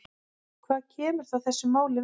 Hvað kemur það þessu máli við?